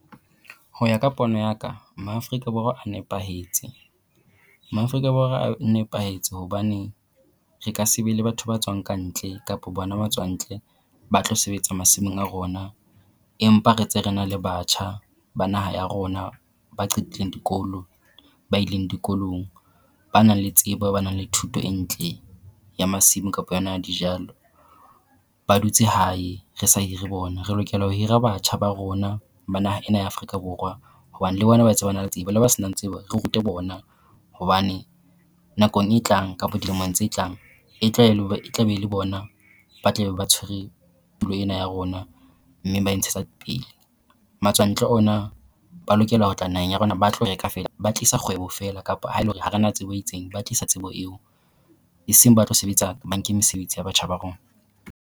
Ho ya ka pono ya ka, Maafrika Borwa a nepahetse. Maafrika Borwa a nepahetse hobane re ka se be le batho ba tswang kantle kapo bona matswantle ba tlo sebetsa masimong a rona, empa re tse re na le batjha ba naha ya rona ba qetileng dikolo, ba ileng dikolong. Ba nang le tsebo ba nang le thuto e ntle ya masimo kapo yona ya dijalo. Ba dutse hae re sa hire bona re lokela ho hira batjha ba rona ba naha ena ya Afrika Borwa hobane ba tse ba nang le tsebo le ba se nang tsebo re rute bona, hobane nakong e tlang kapo dilemong tse tlang e tla be e le bona ba tle be ba tshwere tulo ena ya rona mme ba e ntshetsa pele. Matswantle ona ba lokela ho tla naheng ya rona ba tlo feela, ba tlisa feela kapa ha e le hore ha rena tsebo e itseng ba tlisa tsebo eo, e seng ba tlo sebetsa ba nke mesebetsi ya batjha ba rona.